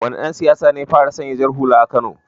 Wane dan siyasa ne ya fara sanya jar hula a kano?